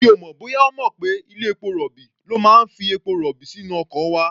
Mi ò mọ̀ bóyá ó mọ̀ pé ilé-epo rọ̀bì ló máa ń fi epo-rọ̀bì sínú ọkọ̀ wa.